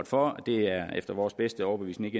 for at det efter vores bedste overbevisning